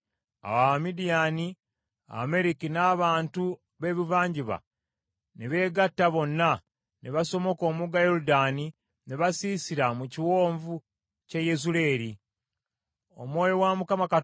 Omwoyo wa Mukama Katonda n’akka ku Gidyoni; n’afuuwa ekkondeere ng’ayita ab’essiga lya Abiyezeeri bamugoberere.